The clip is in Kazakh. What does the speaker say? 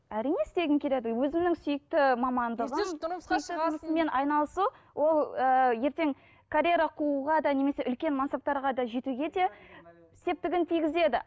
әрине істегім келеді өзімнің сүйікті мамандығым айналысу ол ыыы ертең карьера қууға да немесе үлкен мансаптарға да жетуге де септігін тигізеді